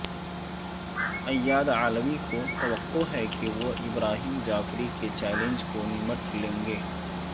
Ayad Allawi کو توقع ہے کہ وہ ابراہیم جعفری کے چیلنج کو نمٹ لیں گے